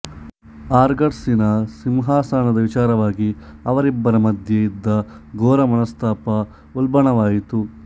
ಆರ್ಗಾಸಿನ ಸಿಂಹಾಸನದ ವಿಚಾರವಾಗಿ ಅವರಿಬ್ಬರ ಮಧ್ಯೆ ಇದ್ದ ಘೋರಮನಸ್ಥಾಪ ಉಲ್ಬಣವಾಯ್ತು